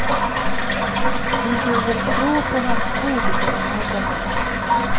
Vi får väl tro på hans ord den här gången.